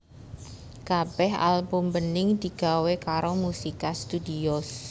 Kabéh album Bening digawé karo Musica Studios